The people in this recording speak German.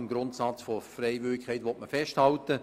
Man will am Grundsatz der Freiwilligkeit festhalten.